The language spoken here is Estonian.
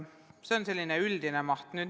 See on vahendite üldine maht.